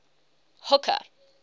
hooker